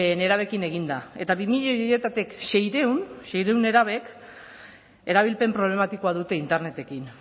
nerabeekin egin da eta bi milioi horietatik seiehun nerabek erabilpen problematikoa dute internetekin